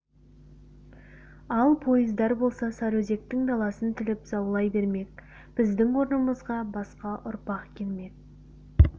ал пойыздар болса сарыөзектің даласын тіліп заулай бермек біздің орнымызға басқа ұрпақ келмек